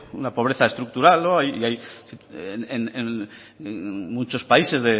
una pobreza estructural y hay en muchos países